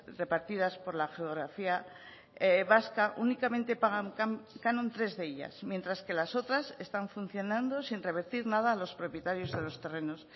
repartidas por la geografía vasca únicamente pagan canon tres de ellas mientras que las otras están funcionando sin revertir nada a los propietarios de los terrenos